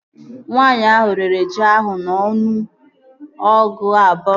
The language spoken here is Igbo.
Nwaanyi ahụ rere ji ahụ n'ọnụ nnu ego abụọ, ọgụ iri, nnu na ọgụ ise